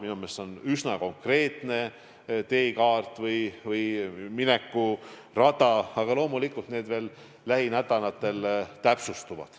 Minu meelest see on üsna konkreetne teekaart või minekurada, aga loomulikult lähinädalatel kõik veel täpsustub.